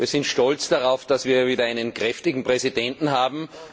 Wir sind stolz darauf, dass wir wieder einen kräftigen Präsidenten haben.